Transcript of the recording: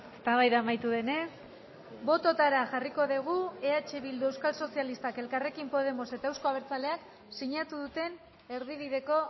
eztabaida amaitu denez bototara jarriko dugu eh bildu euskal sozialistak elkarrekin podemos eta euzko abertzaleak sinatu duten erdibideko